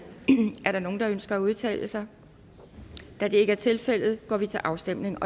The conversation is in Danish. er der nogen der ønsker at udtale sig da det ikke er tilfældet går vi til afstemning